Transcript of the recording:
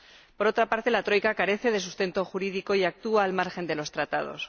Por otra parte, la Troika carece de sustento jurídico y actúa al margen de los Tratados